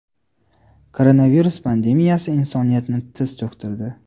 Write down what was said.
Koronavirus pandemiyasi insoniyatni tiz cho‘ktirdi.